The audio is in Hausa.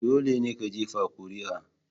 Dole ne ka jefa kuri'a.